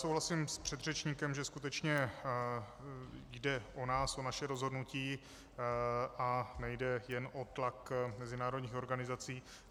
Souhlasím s předřečníkem, že skutečně jde o nás, o naše rozhodnutí a nejde jen o tlak mezinárodních organizací.